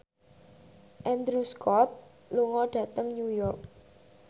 Andrew Scott lunga dhateng New York